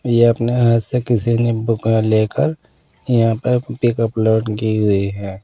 ये अपने हाथ से किसी ने बुक लेकर यहाँ पर पिक अपलोड की हुई है।